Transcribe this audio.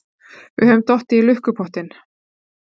Við höfum dottið í lukkupottinn!